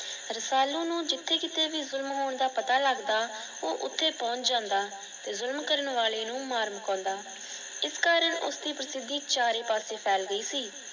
ਰਸਾਲੂ ਨੂੰ ਜਿਥੇ ਕੀਤੇ ਭੀ ਪਤਾ ਲੱਗਦਾ ਉਹ ਓਥੇ ਪਹੁੰਚ ਜਾਂਦਾ ਤੇ ਜੁਰਮ ਕਰਨ ਵਾਲੇ ਨੂੰ ਮਾਰ ਮਕੋਂਦਾ। ਇਸ ਕਾਰਣ ਉਸ ਦੀ ਪ੍ਰਸਿੱਧੀ ਚਾਰੇ ਪਾਸੇ ਫੈਲ ਗਈ ਸੀ।